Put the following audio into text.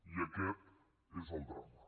i aquest és el drama